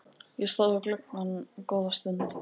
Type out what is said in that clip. Ég stóð við gluggann góða stund.